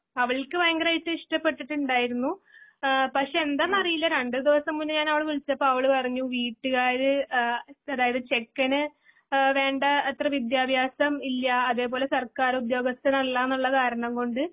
അവൾക്കു ഭയങ്കരമായിട്ട് ഇഷ്ടപെട്ടിട്ടുണ്ടായിരുന്നു. ആ പക്ഷേ എന്താന്നറിയില്ല രണ്ട് ദിവസം മുന്നേ ഞാൻ അവളെ വിളിച്ചപ്പോ അവളുപറഞ്ഞു വീട്ടുകാര് ആ അതായത് ചെക്കന് ആ വേണ്ട ആ അത്ര വിദ്ത്യഭ്യാസം ഇല്ല്യ അതെ പോലെ സർക്കാർ ഉത്യോഗസ്ഥനല്ല എന്നുള്ള കാരണംകൊണ്ട്